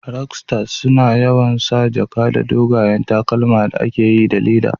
Rokstas suna yawan sa jaka da dogayen takalma da aka yi da le'da.